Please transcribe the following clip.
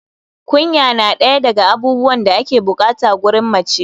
kunya na ɗaya daga abubuwan da ake bukata gurin mace